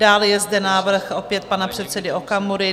Dále je zde návrh opět pana předsedy Okamury.